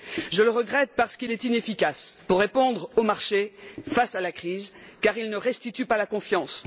Je le regrette parce qu'il est inefficace pour répondre au marché face à la crise car il ne restitue pas la confiance.